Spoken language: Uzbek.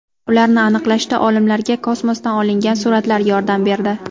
Ularni aniqlashda olimlarga kosmosdan olingan suratlar yordam berdi.